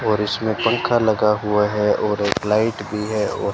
और इसमें पंखा लगा हुआ है और एक लाइट भी है और--